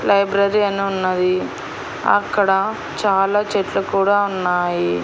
Library అని ఉన్నది అక్కడ చాలా చెట్లు కూడా ఉన్నాయి.